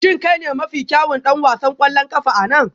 Shin kai ne mafi kyawun ɗan wasan ƙwallon ƙafa a nan?